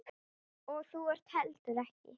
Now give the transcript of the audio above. Og þú ekki heldur.